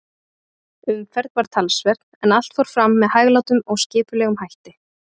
Umferð var talsverð, en allt fór fram með hæglátum og skipulegum hætti.